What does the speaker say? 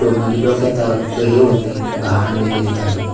ड म्हणजे डोक्यात हे होत नाही घाण वेगेरे काही.